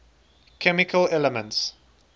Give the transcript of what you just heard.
chemical elements